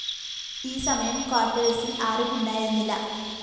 ഈ സമയം ക്വാര്‍ട്ടേഴ്‌സില്‍ ആരും ഉണ്ടായിരുന്നില്ല